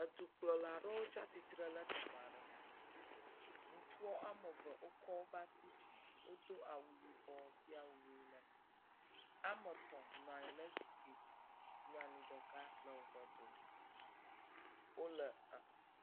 Edukplɔla ɖewo tsi atsitre ɖe teƒe aɖe. Ŋutsua ame eve wokɔ woƒe asi dzi wodo awu yibɔ. Ame etɔ̃ nɔ anyi ɖe zikpui dzi nyanu ɖeka le woƒe dome.